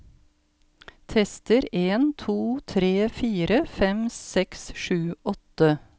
Tester en to tre fire fem seks sju åtte